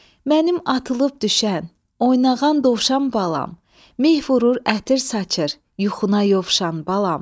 Mənim atılıb düşən, oynağan dovşan balam, meh vurur, ətir saçır, yuxuna yovşan, balam.